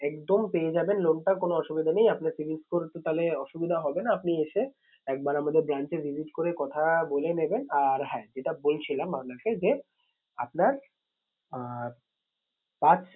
একদম পেয়ে যাবেন loan টা কোনো অসুবিধা নেই। আপনার cibil score তো তাহলে অসুবিধা হবে না আপনি এসে একবার আমাদের bank এ visit করে কথা বলে নেবেন। আর হ্যাঁ যেটা বলছিলাম আপনাকে যে আপনার আহ পাঁচ